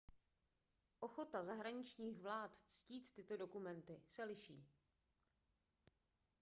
ochota zahraničních vlád ctít tyto dokumenty se liší